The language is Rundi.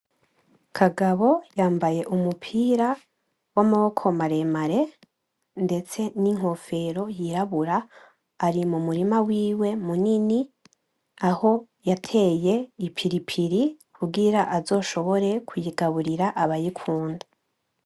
Kagabo yamabye umupira wamaboko maremare ndetse ninkofero yirabura, ari mumurima wiwe munini aho yateye ipilipili kugira azoshobore kuyigaburira abayikunda.